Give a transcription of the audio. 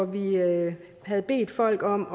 vi havde havde bedt folk om